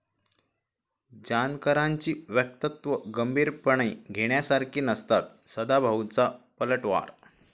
जानकरांची वक्तव्यं गंभीरपणे घेण्यासारखी नसतात, सदाभाऊंचा पलटवार